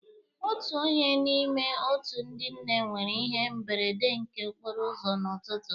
Otu onye n'ime otu ndị nne nwere ihe mberede nke okporo ụzọ n'ụtụtụ.